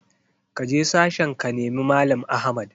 Kaje sashen ka nemi mallam Ahmad!